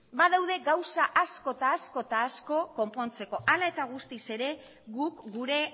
badaude gauza asko eta asko eta asko konpontzeko hala eta guztiz ere guk gure